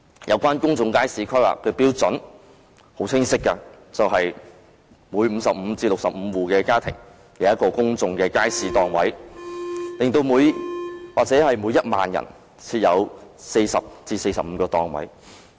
有關公眾街市規劃的標準是很清晰的，每55至65戶的家庭，便有一個公眾街市檔位，或每1萬人，便設有40至45個檔位。